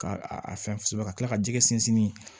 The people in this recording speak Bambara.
Ka a a fɛn kosɛbɛ ka tila ka jɛgɛ sinsin